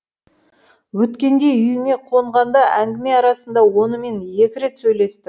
өткенде үйіңе қонғанда әңгіме арасында онымен екі рет сөйлестің